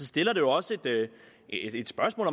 stiller jo også et spørgsmål